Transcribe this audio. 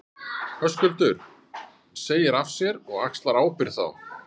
Höskuldur: Segir af þér og axlar ábyrgð þá?